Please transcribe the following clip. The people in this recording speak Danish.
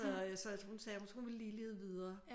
Så hun sagde hun ville lige lede videre